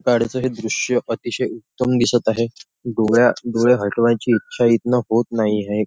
गाडीचं हे दृश्य अतिशय उत्तम दिसत आहे डोळ्या डोळे हटवायची इच्छा इथनं होत नाही आहे.